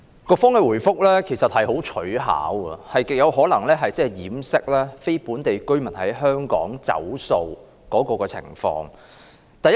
局方的答覆其實相當取巧，極有可能是要掩飾非本地居民在香港"走數"的情況。